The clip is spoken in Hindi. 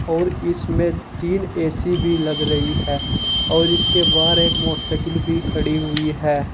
और इसमें तीन ए_सी भी लग रही है और इसके बाहर एक मोटरसाइकिल भी खड़ी हुई है।